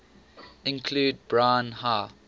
include brine high